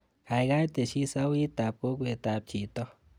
Kaikai tesyi sauitab kokwetab chito.